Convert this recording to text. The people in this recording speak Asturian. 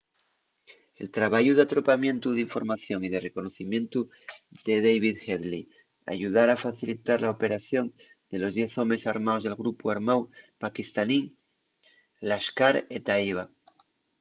el trabayu d’atropamientu d’información y de reconocimientu de david headley ayudara a facilitar la operación de los diez homes armaos del grupu armáu paquistanín laskhar-e-taiba